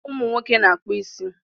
Ụmụ nwoke na-akpọ ịsị